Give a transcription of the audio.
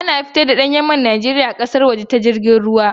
Ɗanyan man Najeriya a na fitar da su ƙasan waje ta jirgin ruwa.